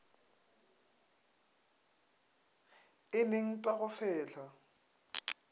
eneng t a go fehla